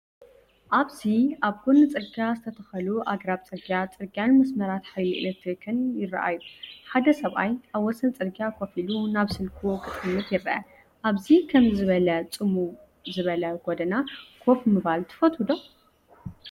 ኣብዚ ኣብ ጎኒ ጽርግያ ዝተተኽሉ ኣግራብ ጽርግያ፣ ጽርግያን መስመራት ሓይሊ ኤሌክትሪክን ይረኣዩ። ሓደ ሰብኣይ ኣብ ወሰን ጽርግያ ኮፍ ኢሉ ናብ ስልኩ ክጥምት ይርአ። ኣብ ከምዚ ዝበለ ጽምው ዝበለ ጎደና ኮፍ ምባል ትፈቱ ዶ?